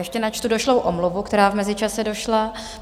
Ještě načtu došlou omluvu, která v mezičase došla.